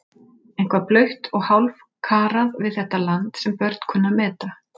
Eitthvað blautt og hálfkarað við þetta land sem börn kunnu að meta.